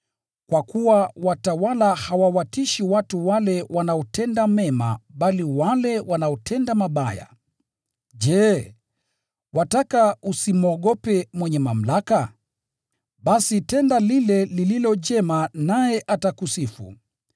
Kwa kuwa watawala hawawatishi watu wale wanaotenda mema bali wale wanaotenda mabaya. Je, wataka usimwogope mwenye mamlaka? Basi tenda lile lililo jema naye atakusifu.